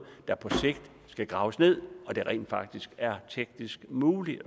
der på sigt skal graves ned når det rent faktisk er teknisk muligt